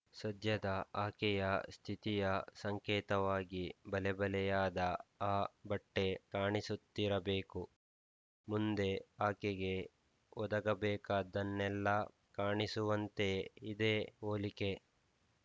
ಸದ್ಯದ ಆಕೆಯ ಸ್ಥಿತಿಯ ಸಂಕೇತವಾಗಿ ಬಲೆಬಲೆಯಾದ ಆ ಬಟ್ಟೆ ಕಾಣಿಸುತ್ತಿರ ಬೇಕು ಮುಂದೆ ಆಕೆಗೆ ಒದಗಬೇಕಾದ್ದನ್ನೆಲ್ಲ ಕಾಣಿಸುವಂತೆ ಇದೆ ಹೋಲಿಕೆ